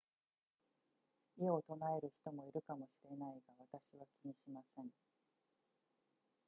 異を唱える人もいるかもしれないが私は気にしません